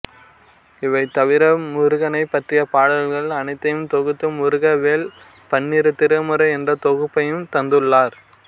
இவை தவிர முருகனைப் பற்றிய பாடல்கள் அனைத்தையும் தொகுத்து முருகவேள் பன்னிரு திருமுறை என்ற தொகுப்பையும் தந்துள்ளார்